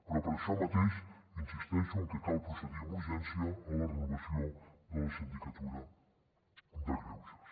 però per això mateix insisteixo cal procedir amb urgència a la renovació de la sindicatura de greuges